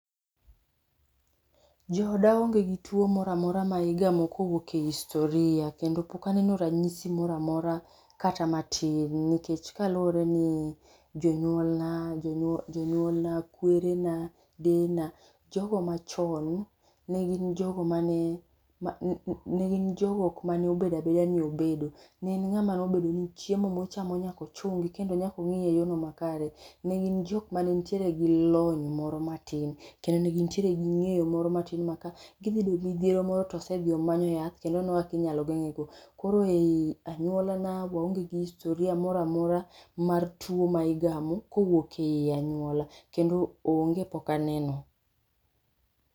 Jooda onge gi tuwo mora mora ma igamo kowuok e historia kendo pok aneno ranyisi mora mora kata matin nikech kaluwore ni jonyuolna, kwerena ,deyena ,jogo machon ne gin jogo mane obedo abeda ni obedo. Ne en ng'ama nobedo ni chiemo mochamo nyaka ochungi kendo nyaka ong'eye e yorno makare. Ne gik jok mane nitiere gi lony moro matin, kendo ne gintiere gi ng'eyo moro matin ma ka gi dhi bedo gi midhiero moro to osedhi omayo yath kendo oneno kaka inyalo geng'ego. Koro ei anyuolana, waonge gi historia mora mora mar tuwo ma igamo, kowuok ei anyuola. Kendo onge pok aneno.